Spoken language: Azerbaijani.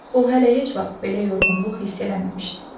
O hələ heç vaxt belə yorğunluq hiss eləməmişdi.